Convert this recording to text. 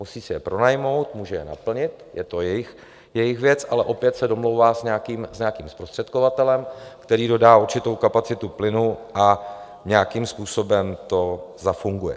Musí si je pronajmout, může je naplnit, je to jejich věc, ale opět se domlouvá s nějakým zprostředkovatelem, který dodá určitou kapacitu plynu a nějakým způsobem to zafunguje.